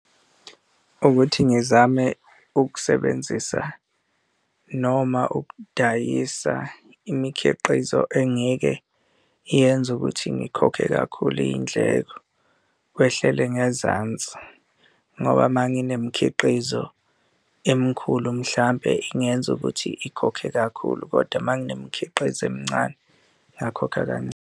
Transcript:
Ukuthi ngizame ukusebenzisa noma ukudayisa imikhiqizo engeke yenze ukuthi ngikhokhe kakhulu iy'ndleko, kwehlele ngezansi ngoba uma nginemikhiqizo emkhulu mhlampe ingenza ukuthi ikhokhe kakhulu. Kodwa uma nginemikhiqizo emncane, ngingakhokha kancane.